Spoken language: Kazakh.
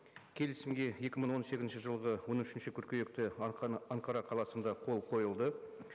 келісімге екі мың он сегізінші жылғы он үшінші қыркүйекте анкара қаласында қол қойылды